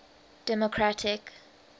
democratic